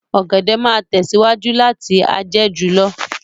Ọ̀gẹ̀dẹ̀ máa tẹ̀síwájú láti a jẹ́ jù lọ